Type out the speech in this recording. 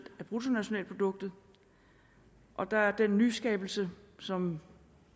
af bruttonationalproduktet og der er den nyskabelse som